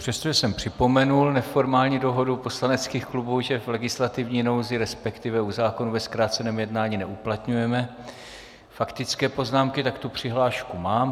Přestože jsem připomenul neformální dohodu poslaneckých klubů, že v legislativní nouzi, respektive u zákonů ve zkráceném jednání neuplatňujeme faktické poznámky, tak tu přihlášku mám.